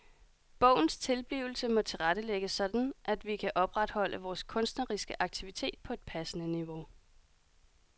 Bogens tilblivelse må tilrettelægges sådan at vi kan opretholde vores kunstneriske aktivitet på et passende niveau.